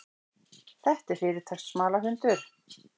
Þetta er fyrirtaks smalahundur.